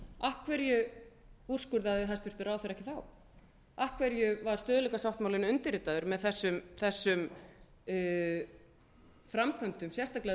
júní af hverju úrskurðaði hæstvirtur ráðherra ekki þá af hverju var stöðugleikasáttmálinn undirritaður með þessum framkvæmdum sérstaklega